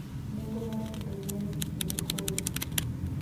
Nengo mar pidho gwen e kinde koyo.